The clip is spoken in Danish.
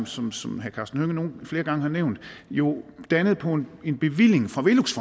som som herre karsten hønge flere gange har nævnt jo dannet på en bevilling fra velux